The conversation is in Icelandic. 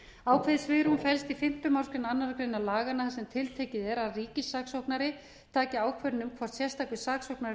saksóknara ákveðið svigrúm felst í fimmta málsgrein annarrar greinar laganna þar sem tiltekið er að ríkissaksóknari taki ákvörðun um hvort sérstakur saksóknari fari